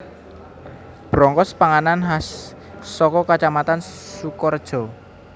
Brongkos panganan khas saka Kacamatan Sukorejo